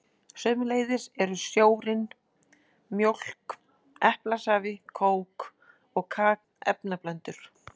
Sömuleiðis eru sjórinn, mjólk, eplasafi, kók og kaka efnablöndur.